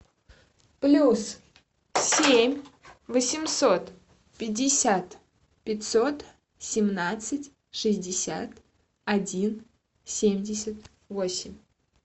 плюс семь восемьсот пятьдесят пятьсот семнадцать шестьдесят один семьдесят восемь